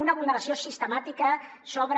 una vulneració sistemàtica sobre